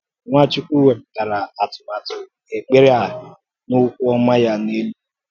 Nwàchùkwù wépùtàrà àtùmàtụ̀ ekpere a n’ọ́kwú ọma ya n’èlú ùgwù.